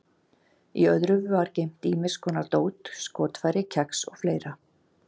Í öðru var geymt ýmis konar dót, skotfæri, kex og fleira.